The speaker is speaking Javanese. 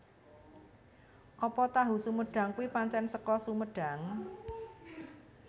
Apa tahu sumedang kui pancen seko Sumedang?